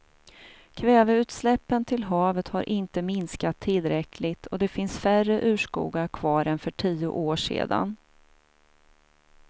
Kväveutsläppen till havet har inte minskat tillräckligt och det finns färre urskogar kvar än för tio år sedan.